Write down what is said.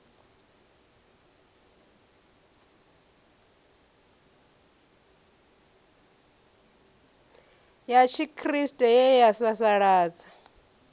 ya tshikriste ye ya sasaladza